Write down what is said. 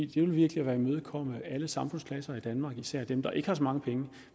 ville virkelig være at imødekomme alle samfundsklasser i danmark men især dem der ikke har så mange penge